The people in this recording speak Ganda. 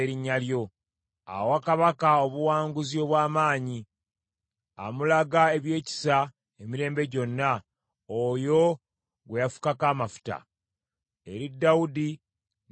Awa kabaka obuwanguzi obw’amaanyi, amulaga ebyekisa emirembe gyonna oyo gwe yafukako amafuta, eri Dawudi n’eri ezzadde lye.